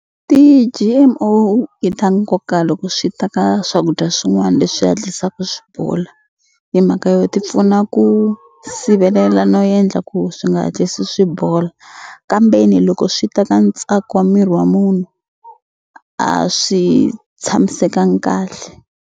Ti-G_M_O i ta nkoka loko swi ta ka swakudya swin'wani leswi hatlisaka swi bola hi mhaka yo ti pfuna ku sivelela no endla ku swi nga hatlisi swi bola kambeni loko swi ta ka ntsako wa miri wa munhu a swi tshamisekangi kahle.